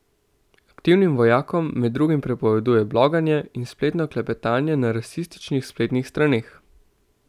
Aktivnim vojakom med drugim prepoveduje bloganje in spletno klepetanje na rasističnih spletnih straneh.